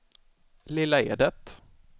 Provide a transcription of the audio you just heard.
Lilla Edet